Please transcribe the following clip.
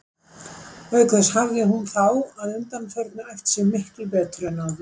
Auk þess hafði hún þá að undanförnu æft sig miklu betur en áður.